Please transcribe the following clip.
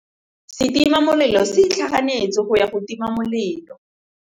Setima molelô se itlhaganêtse go ya go tima molelô.